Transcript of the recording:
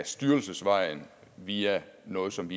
styrelsesvejen via noget som